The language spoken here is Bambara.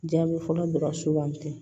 Jaabi fɔlɔ dɔrɔn sugandi